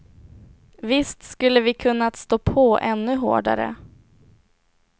Visst skulle vi kunnat stå på ännu hårdare.